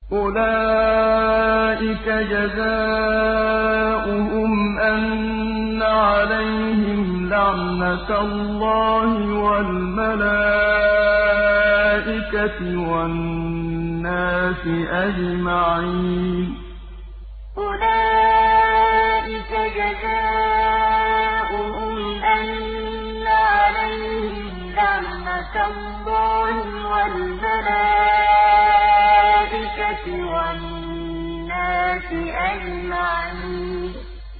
أُولَٰئِكَ جَزَاؤُهُمْ أَنَّ عَلَيْهِمْ لَعْنَةَ اللَّهِ وَالْمَلَائِكَةِ وَالنَّاسِ أَجْمَعِينَ أُولَٰئِكَ جَزَاؤُهُمْ أَنَّ عَلَيْهِمْ لَعْنَةَ اللَّهِ وَالْمَلَائِكَةِ وَالنَّاسِ أَجْمَعِينَ